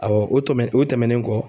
Awɔ o tɔmɛn o tɛmɛnen kɔ